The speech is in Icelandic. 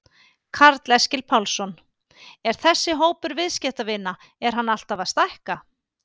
Karl Eskil Pálsson: Er þessi hópur viðskiptavina er hann alltaf að stækka?